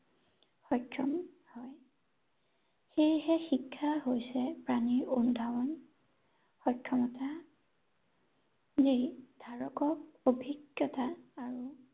সক্ষম হয় ৷ সেয়েহে শিক্ষা হৈছে প্ৰাণীৰ অনুধাৱন, সক্ষমতা নিৰ্ধাৰক অভিজ্ঞতা আৰু